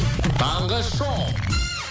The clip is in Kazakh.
таңғы шоу